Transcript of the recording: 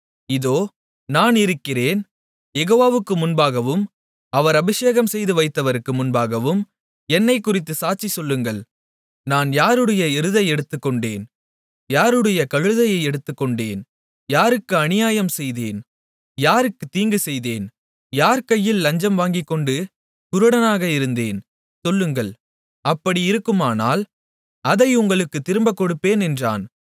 இதோ நான் இருக்கிறேன் யெகோவாவுக்கு முன்பாகவும் அவர் அபிஷேகம்செய்து வைத்தவருக்கு முன்பாகவும் என்னைக்குறித்துச் சாட்சி சொல்லுங்கள் நான் யாருடைய எருதை எடுத்துக்கொண்டேன் யாருடைய கழுதையை எடுத்துக்கொண்டேன் யாருக்கு அநியாயம்செய்தேன் யாருக்கு தீங்கு செய்தேன் யார் கையில் லஞ்சம் வாங்கிக்கொண்டு குருடனாக இருந்தேன் சொல்லுங்கள் அப்படி இருக்குமானால் அதை உங்களுக்குத் திரும்பக் கொடுப்பேன் என்றான்